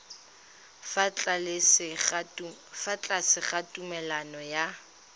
fa tlase ga tumalano ya